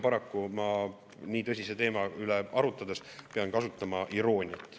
Paraku ma nii tõsise teema üle arutades pean kasutama irooniat.